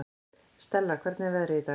Stella, hvernig er veðrið í dag?